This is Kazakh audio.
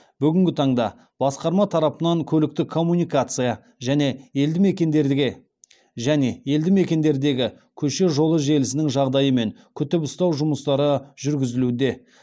бүгінгі таңда басқарма тарапынан көліктік коммуникация және елді мекендердегі көше жолы желісінің жағдайы мен күтіп ұстау жұмыстары жүргізілуде